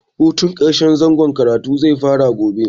Hutun ƙarshen zangon karatu zai fara gobe.